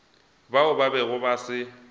bao ba bego ba se